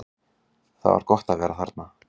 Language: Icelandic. Það var gott að vera þarna.